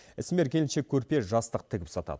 ісмер келіншек көрпе жастық тігіп сатады